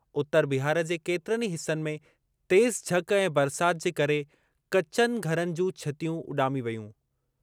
उतर बिहार जे केतिरनि ई हिसनि में तेज़ झक ऐं बरसाति जे घर करे कचनि घरनि जूं छितियूं उॾामी वेयूं।